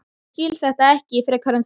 Ég skil þetta ekki frekar en þú.